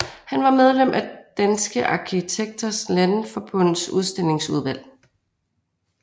Han var medlem af Danske Arkitekters Landsforbunds udstillingsudvalg